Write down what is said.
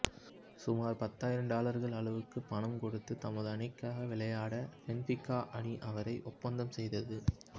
சுமார் பத்தாயிரம் டாலர்கள் அளவுக்கு பணம் கொடுத்து தமது அணிக்காக விளையாட ஃபென்ஃபிகா அணி அவரை ஒப்பந்தம் செய்தது